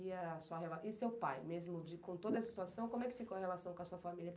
E seu pai, mesmo com toda essa situação, como é que ficou a relação com a sua família?